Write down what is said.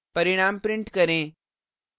परिणाम print करें